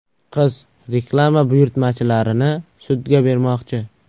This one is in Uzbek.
Qiz reklama buyurtmachilarini sudga bermoqchi.